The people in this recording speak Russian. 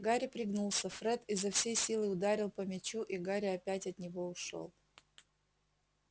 гарри пригнулся фред изо всей силы ударил по мячу и гарри опять от него ушёл